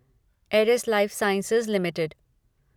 Eris Lifesciences limited